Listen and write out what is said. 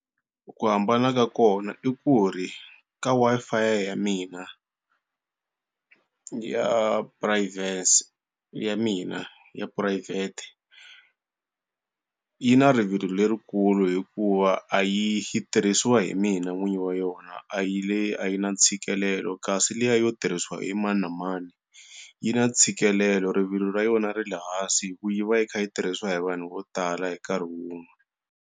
Ku hambana ka kona i ku ri ka Wi-Fi ya mina ya privacy ya mina ya private, yi na rivilo lerikulu hikuva a yi yi tirhisiwa hi mina n'wini wa yona a yi le a yi na ntshikelelo. Kasi liya yo tirhisiwa hi mani na mani yi na ntshikelelo rivilo ra yona ri le hansi hikuva yi va yi kha yi tirhisiwa hi vanhu vo tala hi nkarhi wun'we.